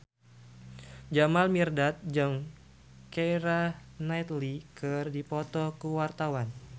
Jamal Mirdad jeung Keira Knightley keur dipoto ku wartawan